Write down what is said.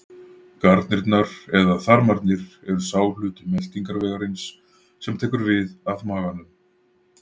Garnirnar eða þarmarnir eru sá hluti meltingarvegarins sem tekur við af maganum.